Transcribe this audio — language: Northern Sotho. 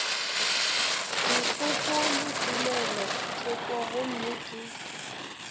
dipoko le tumelothoko gomme ke